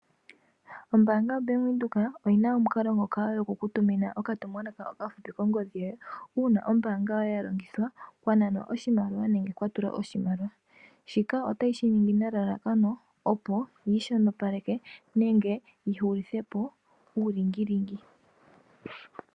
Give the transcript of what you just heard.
Ombaanga yo Bank Windhoek oyina omukalo ngoka goku kutumina okatumwalaka okafupi kongodhi yoye. Uuna ombaanga yoye ya longithwa kwa nanwa oshimaliwa nenge kwa tulwa oshimaliwa. Shika otayi shi ningi nelalakano opo yi shonopaleke nenge yi hulithe po uulingilingi.